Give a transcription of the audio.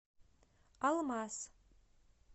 алмаз